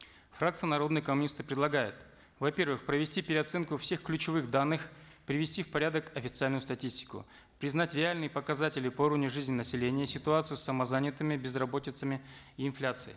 фракция народные коммунисты предлагает во первых провести переоценку всех ключевых данных привести в порядок официальную статистику признать реальные показатели по уровню жизни населения ситуацию с самозанятыми и инфляцией